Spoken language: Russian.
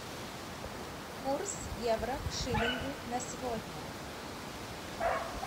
курс евро к шиллингу на сегодня